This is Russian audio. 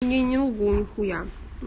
не не лгу нихуя